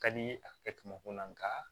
Ka di a kɛ mako la nka